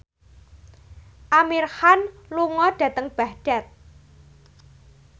Amir Khan lunga dhateng Baghdad